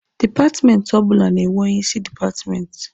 Dipatmenti ọbụla na-enwe onye isi dipatmenti.